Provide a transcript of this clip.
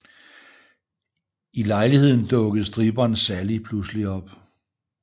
I lejligheden dukker stripperen Sally pludselig op